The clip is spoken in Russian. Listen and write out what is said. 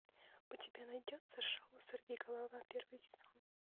у тебя найдется шоу сорви голова первый сезон